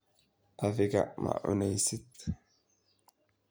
Adigaa ma cuneysid?